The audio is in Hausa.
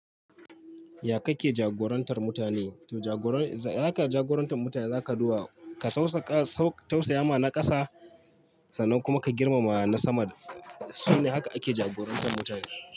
Ya kake jagorantar mutane? To jagora, haka ka jagorantar mutane za kaduba ka sausaƙa, tausaya ma na ƙasa sannan kuma ka girmama na sama. Sune haka ake jagorantar mutane.